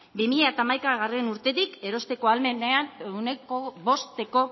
bi mila hamaikagarrena urtetik erosteko ahalmenean ehuneko bosteko